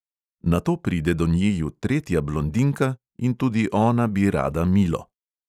Nato pride do njiju tretja blondinka in tudi ona bi rada milo.